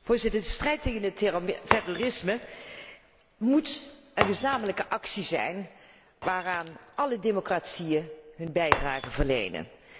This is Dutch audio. Voorzitter, de strijd tegen het terrorisme moet een gezamenlijke actie zijn waaraan alle democratieën hun bijdrage verlenen.